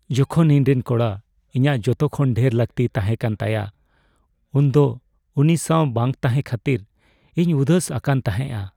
ᱡᱚᱠᱷᱚᱱ ᱤᱧᱨᱮᱱ ᱠᱚᱲᱟ ᱤᱧᱟᱹᱜ ᱡᱚᱛᱚ ᱠᱷᱚᱱ ᱰᱷᱮᱨ ᱞᱟᱹᱠᱛᱤ ᱛᱟᱦᱮᱸ ᱠᱟᱱᱟ ᱛᱟᱭᱟ ᱩᱱᱫᱚ ᱩᱱᱤ ᱥᱟᱣ ᱵᱟᱝ ᱛᱟᱦᱮᱸ ᱠᱷᱟᱹᱛᱤᱨ ᱤᱧ ᱩᱫᱟᱹᱥ ᱟᱠᱟᱱ ᱛᱟᱦᱮᱸᱜᱼᱟ ᱾